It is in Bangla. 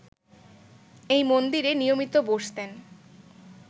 এই মন্দিরে নিয়মিত বসতেন